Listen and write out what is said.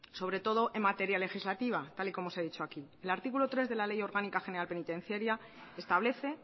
sobre todo en materia legislativa tal y como os he dicho aquí el artículo tres de la ley orgánica general penitenciaria establece